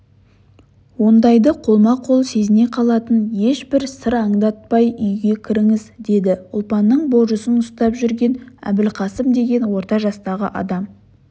ондайды қолма-қол сезіне қалатын ешбір сыр аңдатпайүйге кіріңіз деді ұлпанның божысын ұстап жүрген әбілқасым деген орта жастағы адам